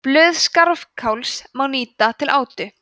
blöð skarfakáls má nýta til átu